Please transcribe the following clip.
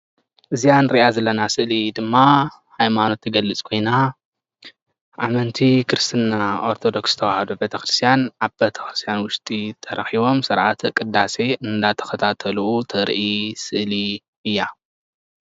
እዛ እንሪኣ ዘለና ኣብ ስእሊ ድማ ሃይማኖት እትገልፅ ኮይና ኣመንቲ ክርስትና ኦርተዶክስ ተዋህዶ ቤተክርስትያን ኣብ ቤተክርስትያን ውሽጢ ተረኪቦም ስርዓተ ቅዳሴ እንዳተከታተሉ ተርኢ ስእሊ እያ፡፡